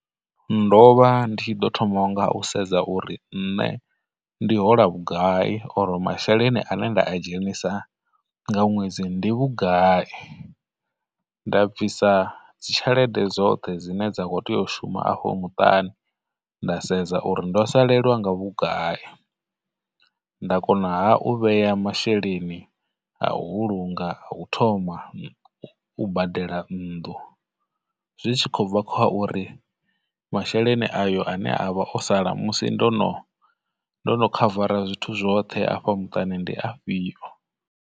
Ndo vha ndi tshi ḓo thoma nga u sedza uri nṋe ndi hola vhugai for masheleni ane nda a dzhenisa nga ṅwedzi ndi vhugai, nda bvisa dzitshelede dzoṱhe dzine dza khou tea u shuma afho muṱani, nda sedza uri ndo salelwa nga vhugai, nda konaha u vhea masheleni a u vhulunga ha u thoma u badela nnḓu, zwi tshi khou bva kha uri masheleni ayo ane avha o sala musi ndono ndono khavara zwithu zwoṱhe afha muṱani ndi afhio.